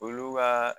Olu ka